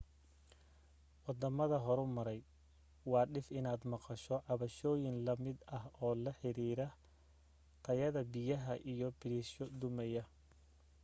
waddamada horumaray waa dhif inaad maqasho cabashooyin la mid ah oo la xiriira tayada biyaha iyo biriishoy dumaya